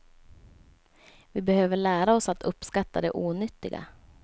Vi behöver lära oss att uppskatta det onyttiga.